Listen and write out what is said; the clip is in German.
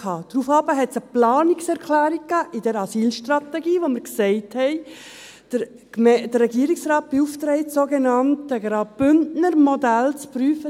Daraufhin gab es eine Planungserklärung zur Asylstrategie, in der wir den Regierungsrat beauftragten, das sogenannte Bündner Modell zu prüfen.